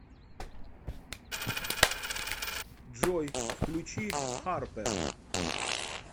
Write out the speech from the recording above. джой включи харпер